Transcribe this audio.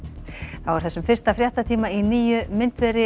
þá er þessum fyrsta fréttatíma í nýju myndveri